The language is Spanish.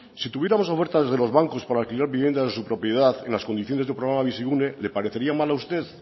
si tuviéramos ofertas de los bancos para alquilar viviendas de su propiedad en las condiciones del programa bizigune le parecería mal a usted